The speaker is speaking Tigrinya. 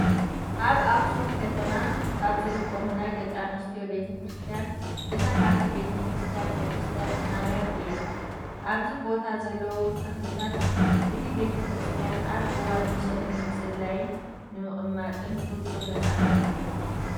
ኣብ ኣክሱም ከተማ ካብ ዝርከቡ ናይ ደቂ ኣንስትዮ ቤተ ክርስቲያን እታ ሓንቲ ቤተ ክርስቲያን ቅድስቲ ማርያም እያ። ኣብዚ ቦታ ዘለውን ተክልታት እቲ ቤተ ክርስቲያንን ኣብ እዋን ምሸት ንምፅላይን ንምቅማጥን ፍፁም ነፃነት ኣለዎ።